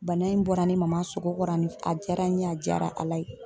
Bana in bɔra ne Maman sogo kɔrɔ a diyara n ye a diyara Ala ye .